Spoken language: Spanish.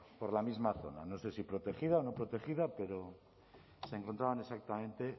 por la misma zona no sé si protegida o no protegida pero se encontraban exactamente